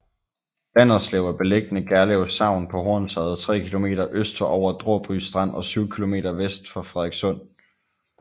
Landerslev er beliggende Gerlev Sogn på Hornsherred tre kilometer øst for Over Dråby Strand og syv kilometer vest for Frederikssund